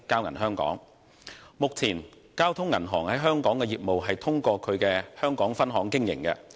目前，交通銀行在香港的業務通過其香港分行經營。